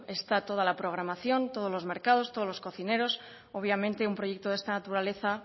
está toda la programación todos los mercados todos los cocineros obviamente un proyecto de esta naturaleza